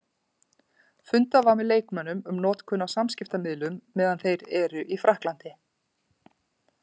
Fundað var með leikmönnum um notkun á samskiptamiðlum meðan þeir eru í Frakklandi.